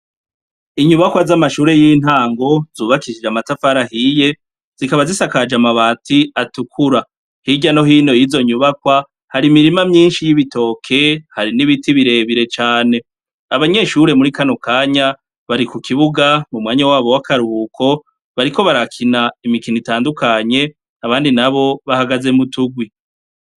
Inyubakwa zamashure yintango zukabishije amatafari ahiye zikaba zisakaje amabati atukura hirya no hino yizo nyubakwa hari imirima myinshi yibitoke hari nibiti birebire cane abanyeshure muri kanokanya bari kukibuga mumwanya wabo wakaruhuko bariko barakina imikino itandukanye abandi nabo bahagaze muturwi